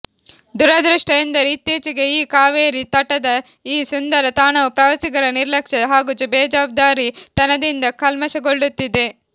ದುರದೃಷ್ಟ ಎಂದರೆ ಇತ್ತೀಚೆಗೆ ಈ ಕಾವೇರಿ ತಟದ ಈ ಸುಂದರ ತಾಣವು ಪ್ರವಾಸಿಗರ ನಿರ್ಲಕ್ಷ್ಯ ಹಾಗೂ ಬೇಜವಾಬ್ದಾರಿ ತನದಿಂದ ಕಲ್ಮಶಗೊಳ್ಳುತ್ತಿದೆ